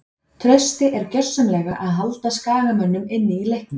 Trausti er gjörsamlega að halda skagamönnum inní leiknum.